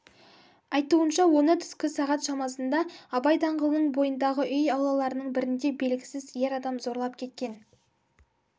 айтуынша оны түскі сағат шамасында абай даңғылының бойындағы үй аулаларының бірінде белгісіз ер адам зорлап кеткен